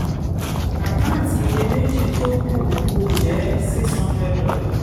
àkántì iyèméjì tó kù kù jẹ́ six hundred dollar